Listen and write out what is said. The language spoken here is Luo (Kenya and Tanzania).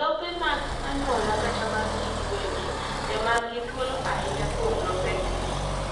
lope mag anyuola kata mag jii giwegi emanigi thuolo ainya kuom lopegi